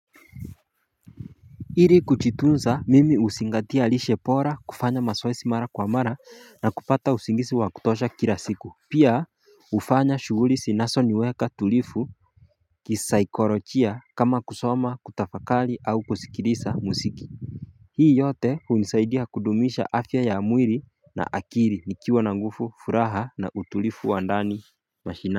Ili kujitunza mimi huzingatia lishe bora kufanya mazoezi mara kwa mara na kupata usingizi wa kutosha kila siku Pia hufanya shughuli zinazoniweka tulivu kisaikolojia kama kusoma kutafakari au kusikiliza muziki Hii yote hunisaidia kudumisha afya ya mwili na akili nikiwa na nguvu furaha na utulivu wa ndani mashinani.